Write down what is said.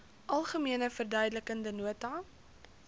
algemene verduidelikende nota